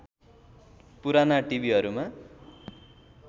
पुराना टिभिहरूमा